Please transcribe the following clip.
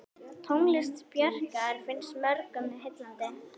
Tónlist Bjarkar finnst mörgum heillandi.